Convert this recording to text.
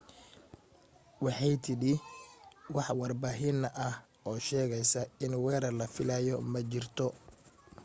waxay tidhi wax warbixin ah oo sheegaysa in weerar la filayay ma jirto